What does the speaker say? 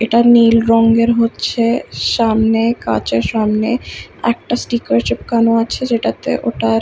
এটা নীল রঙের হচ্ছে-এ সামনে কাচের সামনে একটা স্টিকার চিপানো আছে সেটাতে ওটার--